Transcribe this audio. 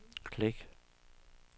klik